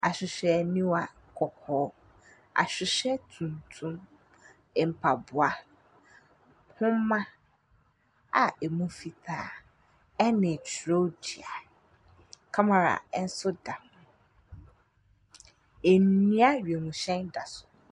Ahwehwɛ niwa kɔkɔɔ. Ahwehwɛ tuntum. Mpaboa, nnwoma a ɛmu fitaa ɛne twerɛdua. Kamara ɛnso da hɔ. Ndua wiemhyɛn da so.